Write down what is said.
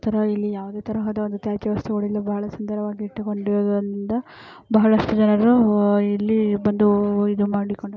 ಇಲ್ಲಿ ಯಾವುದೇ ತರಹದ ತ್ಯಾಜ್ಯ ವಸ್ತುಗಳು ಇಲ್ಲಿ ಬಹಳ ಸುಂದರವಾಗಿ ಇಟ್ಟುಕೊಂಡಿದ್ದರಿಂದ ಬಹಳಷ್ಟು ಜನರು ಇಲ್ಲಿ ಬಂದು ಇದು ಮಾಡಿಕೊಂಡು---